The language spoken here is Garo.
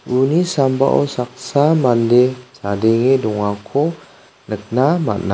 uni sambao saksa mande chadenge dongako nikna man·a.